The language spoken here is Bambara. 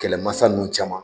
Kɛlɛmasa ninnu caman